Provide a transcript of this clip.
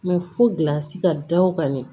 fo gilansi ka da o kan de